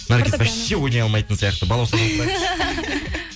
наргиз вообще ойнай алмайтын сияқты балаусадан сұрайықшы